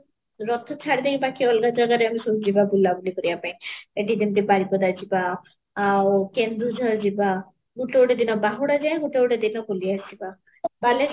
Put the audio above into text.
ରଥ ଚଡି ଦେଇକି ବାକି ଅଲଗା ଜାଗାରେ ଆମେ ସବୁ ଯିବା ବୁଲା ବୁଲି କରିବା ପାଇଁ ଏଠି ଯେମିତି ବାରିପଦା ଯିବା ଗୋଟେ ଦିନ କେନ୍ଦୁଝଡ଼ ଯିବା ଗୋଟେ ଗୋଟେ ଦିନ ବାହୁଡା ଯାଏ ଗୋଟେ ଗୋଟେ ଦିନ ବୁଲି ଆସିବା, ବାଲେଶ୍ୱର